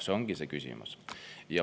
See ongi see küsimus.